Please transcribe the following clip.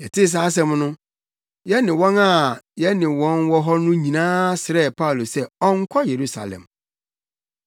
Yɛtee saa asɛm no, yɛne wɔn a na yɛne wɔn wɔ hɔ no nyinaa srɛɛ Paulo sɛ ɔnnkɔ Yerusalem.